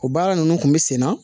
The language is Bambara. O baara ninnu kun bɛ sen na